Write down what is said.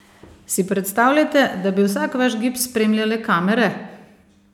Si predstavljate, da bi vsak vaš gib spremljale kamere?